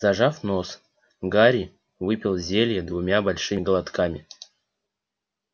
зажав нос гарри выпил зелье двумя большими глотками